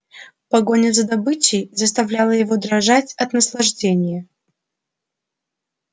погоня за добычей заставляла его дрожать от наслаждения